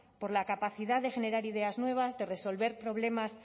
por la capacidad de generar ideas nuevas de resolver problemas